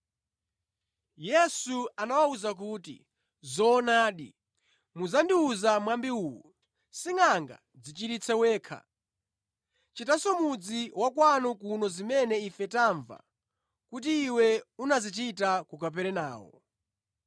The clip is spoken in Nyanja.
Yesu anawawuza kuti, “Zoonadi, mudzandiwuza mwambi uwu: Singʼanga, dzichiritse wekha! Chitanso mʼmudzi wa kwanu kuno zimene ife tamva kuti Iwe unazichita ku Kaperenawo.”